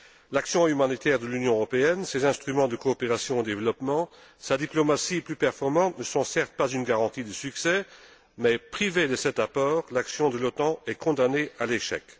L'action humanitaire de l'Union européenne, ses instruments de coopération au développement, sa diplomatie plus performante ne sont, certes, pas une garantie de succès, mais privée de cet apport, l'action de l'OTAN est condamnée à l'échec.